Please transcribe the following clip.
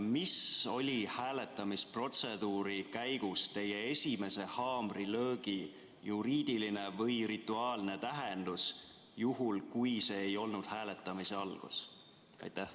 Mis oli hääletamisprotseduuri käigus teie esimese haamrilöögi juriidiline või rituaalne tähendus, juhul kui see ei olnud hääletamise algus?